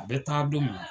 A bɛ taa don min na